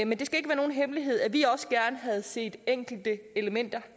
men det skal ikke være nogen hemmelighed at vi også gerne havde set at enkelte elementer